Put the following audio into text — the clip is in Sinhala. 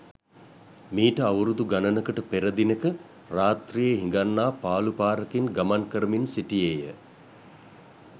මීට අවුරුදු ගණනකට පෙර දිනෙක රාත්‍රියේ හිඟන්නා පාළු පාරකින් ගමන් කරමින් සිටියේ ය.